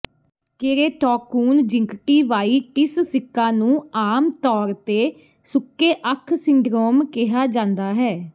keratoconjunctivitis sicca ਨੂੰ ਆਮ ਤੌਰ ਤੇ ਸੁੱਕੇ ਅੱਖ ਸਿੰਡਰੋਮ ਕਿਹਾ ਜਾਂਦਾ ਹੈ